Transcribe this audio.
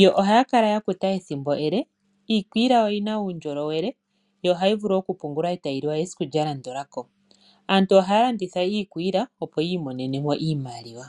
yo ohaya kala ya kuta ethimbo ele, iikwiila oyi na uundjolowele yo ohayi vulu oku pungulwa eta yi li wa esiku lya landula ko, aantu ohaya landitha iikwiila opo yi imonene mo iimaliwa.